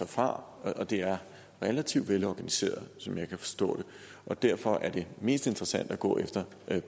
fra og det er relativt velorganiseret som jeg kan forstå derfor er det mest interessante at gå efter